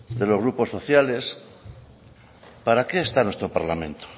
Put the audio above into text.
de los grupos sociales para qué está nuestro parlamento